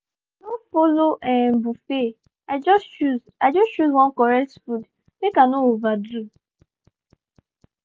i no follow um buffet i just choose i just choose one correct food make i no overdo.